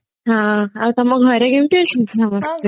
ହଁ ଆଉ ତମ ଘରେ କେମତି ଅଛନ୍ତି ସମସ୍ତେ